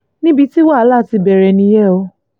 níbi tí wàhálà ti bẹ̀rẹ̀ nìyẹn o